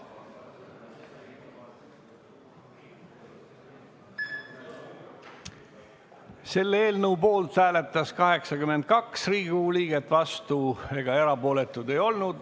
Hääletustulemused Eelnõu poolt hääletas 82 Riigikogu liiget, vastuolijaid ega erapooletuid ei olnud.